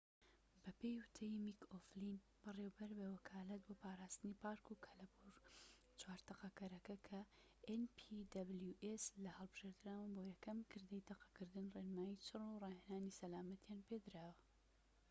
بەپێی وتەی میك ئۆفلین بەڕێوەبەر بە وەکالەت بۆ پاراستنی پارك و کەلەپور لە npws چوار تەقەکەرەکە کە هەلبژێردراون بۆ یەکەم کردەی تەقەکردن ڕێنمایی چڕ و ڕاهێنانی سەلامەتییان پێدراوە